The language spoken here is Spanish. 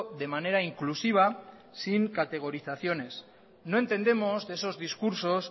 de manera inclusiva sin categorizaciones no entendemos de esos discursos